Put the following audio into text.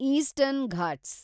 eastern Ghats